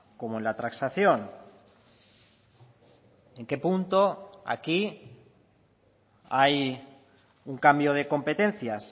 como en la transacción en qué punto aquí hay un cambio de competencias